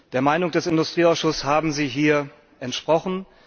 Der Meinung des Industrieausschusses haben Sie hier entsprochen.